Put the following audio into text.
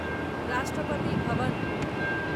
Rashtrapati Bhavan